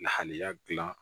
Lahalaya gilan